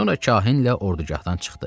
Sonra kahinlə ordugahdan çıxdı.